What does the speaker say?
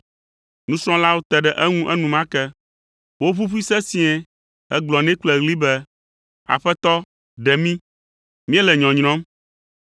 Nusrɔ̃lawo te ɖe eŋu enumake. Woʋuʋui sesĩe hegblɔ nɛ kple ɣli be, “Aƒetɔ, ɖe mí! Míele nyɔnyrɔm!”